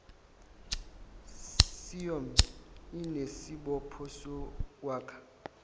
ciom anesibopho sokwakha